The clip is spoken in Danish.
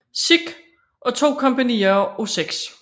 Sikh og to kompagnier af 6